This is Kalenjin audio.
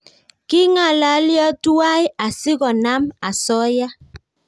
Kingalalyo tuwai asikonam osoya